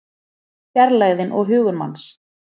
Fjarlægðin og hugur manns